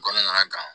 Kɔnɔna kan